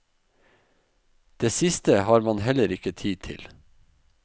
Det siste har man heller ikke tid til.